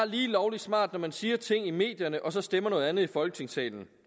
lovlig smart når man siger ting i medierne og så stemmer noget andet i folketingssalen